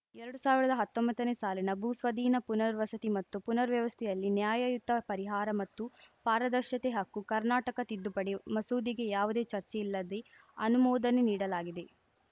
ಎರಡು ಸಾವಿರ್ದ ಹತ್ತೊಂಬತ್ತನೇ ಸಾಲಿನ ಭೂ ಸ್ವಾಧೀನ ಪುನರ್‌ವಸತಿ ಮತ್ತು ಪುನರ್‌ವ್ಯವಸ್ಥೆಯಲ್ಲಿ ನ್ಯಾಯಯುತ ಪರಿಹಾರ ಮತ್ತು ಪಾರದರ್ಶತೆ ಹಕ್ಕು ಕರ್ನಾಟಕ ತಿದ್ದುಪಡಿ ಮಸೂದೆಗೆ ಯಾವುದೇ ಚರ್ಚೆ ಇಲ್ಲದೆ ಅನುಮೋದನೆ ನೀಡಲಾಗಿದೆ